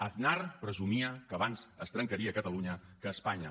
aznar presumia que abans es trencaria catalunya que espanya